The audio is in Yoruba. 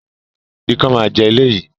Ikán máa jẹ ilé yìí